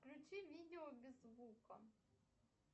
включи видео без звука